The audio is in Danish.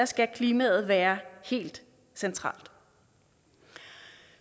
skal klimaet være helt centralt